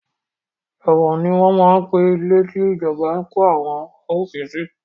Ẹ̀wọ̀n ni wọn máa ń pe ilé tí ìjọba ń kó àwọn arúfin sí